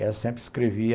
E ela sempre escrevia.